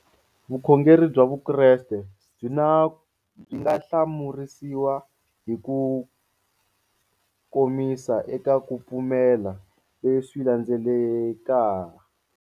Vukhongeri bya Vukreste byi nga hlamurisiwa hi kukomisa eka ku pfumela leswi landzeleka.